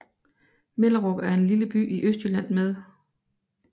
Mellerup er en lille by i Østjylland med